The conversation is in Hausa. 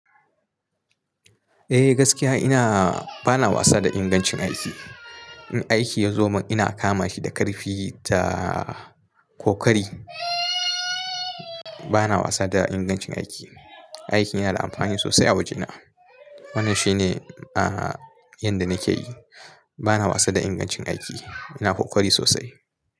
Eh gaskiya ina bana wasa da ingancin aiki. In aiki ya zo min ina kama shi da karfi ta kokari. Bana wasa da ingancin aiki. Aikin yana da amfani sosai a wajena. Wannan shine a yanda nake yi. Bana wasa da ingancin aiki. Ina kokari sosai.